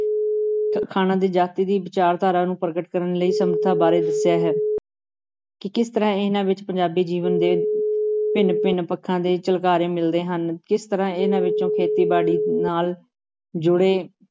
ਅਖਾਣਾਂ ਦੀ ਜਾਤੀ ਦੀ ਵਿਚਾਰਧਾਰਾ ਨੂੰ ਪ੍ਰਗਟ ਕਰਨ ਲਈ ਸਮਰਥਾ ਬਾਰੇ ਦੱਸਿਆ ਹੈ ਕਿ ਕਿਸ ਤਰ੍ਹਾਂ ਇਹਨਾਂ ਵਿੱਚ ਪੰਜਾਬੀ ਜੀਵਨ ਦੇ ਭਿੰਨ ਭਿੰਨ ਪੱਖਾਂ ਦੇ ਝਲਕਾਰੇ ਮਿਲਦੇ ਹਨ, ਕਿਸ ਤਰ੍ਹਾਂ ਇਹਨਾਂ ਵਿੱਚੋਂ ਖੇਤੀਬਾੜੀ ਨਾਲ ਜੁੜੇ